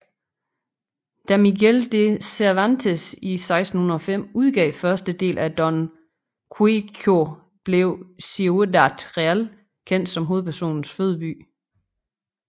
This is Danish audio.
Da Miguel de Cervantes i 1605 udgav første del af Don Quijote blev Ciudad Real kendt som hovedpersonens fødeby